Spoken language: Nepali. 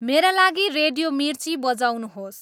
मेरा लागि रेडियो मिर्ची बजाउनुहोस्